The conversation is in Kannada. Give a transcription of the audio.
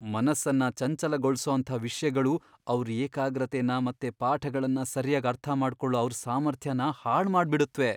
ಮನಸ್ಸನ್ನ ಚಂಚಲಗೊಳ್ಸೋಂಥ ವಿಷ್ಯಗಳು ಅವ್ರ್ ಏಕಾಗ್ರತೆನ ಮತ್ತೆ ಪಾಠಗಳ್ನ ಸರ್ಯಾಗ್ ಅರ್ಥಮಾಡ್ಕೊಳೋ ಅವ್ರ್ ಸಾಮರ್ಥ್ಯನ ಹಾಳ್ಮಾಡ್ಬಿಡತ್ವೆ.